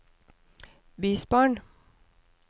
bysbarn